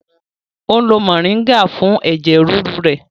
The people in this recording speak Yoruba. O n lo moringa fún ẹ̀jẹ̀ ríru rẹ̀